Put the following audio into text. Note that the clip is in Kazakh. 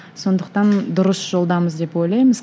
сондықтан дұрыс жолдамыз деп ойлаймыз